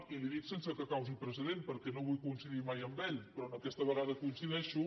i li ho dic sense que causi precedent perquè no vull coincidir mai amb ell però aquesta vegada hi coincideixo